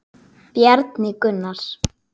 Bjarni Gunnar.